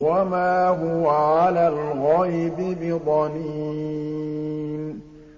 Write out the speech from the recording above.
وَمَا هُوَ عَلَى الْغَيْبِ بِضَنِينٍ